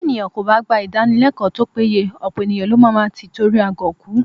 Bí ènìyàn kò bá gba Ìdánilẹ́kọ̀ọ́ tó péye, ọ̀pọ̀ ènìyàn ló má máa tí itori agọ̀ kú